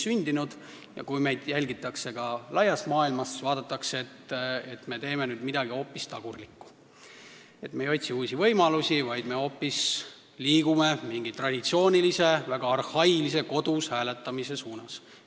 Kui meid laias maailmas jälgitakse, siis nüüd vaadatakse, et me teeme midagi hoopis tagurlikku, me ei otsi uusi võimalusi, vaid liigume hoopis mingi traditsioonilise, väga arhailise kodus hääletamise suunas.